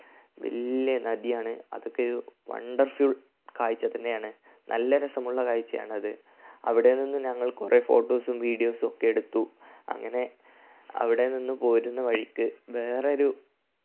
വലിയ നദിയാണ്. അതൊക്കെയൊരു wonderful കാഴ്ച തന്നെയാണ് നല്ല രസമുള്ള കാഴ്ചയാണ് അത് അവിടെ നിന്നും ഞങ്ങൾ കുറേ photos ഉം videos ഒക്കെ എടുത്തു. അങ്ങനെ അവിടെ നിന്നും പോരുന്ന വഴിക്ക് വേറൊരു